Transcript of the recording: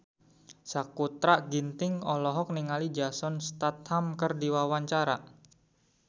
Sakutra Ginting olohok ningali Jason Statham keur diwawancara